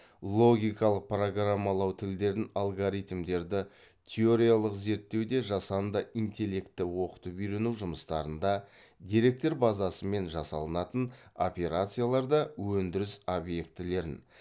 логикалық программалау тілдерін алгоритмдерді теориялық зерттеуде жасанді интеллекті оқытып үйрену жұмыстарында деректер базасымен жасалынатын операцияларда өндіріс объектілерін